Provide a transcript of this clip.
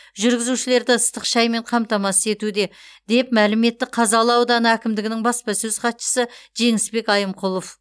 жүргізушілерді ыстық шаймен қамтамасыз етуде деп мәлім етті қазалы ауданы әкімдігінің баспасөз хатшысы жеңісбек айымқұлов